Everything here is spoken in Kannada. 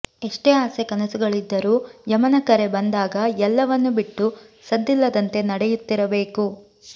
ಎಷ್ಟೇ ಆಸೆ ಕನಸುಗಳಿದ್ದರೂ ಯಮನ ಕರೆ ಬಂದಾಗ ಎಲ್ಲವನ್ನೂ ಬಿಟ್ಟು ಸದ್ದಿಲ್ಲದಂತೆ ನಡೆಯುತ್ತಿರಬೇಕು